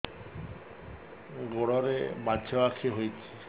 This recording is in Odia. ଗୋଡ଼ରେ ମାଛଆଖି ହୋଇଛି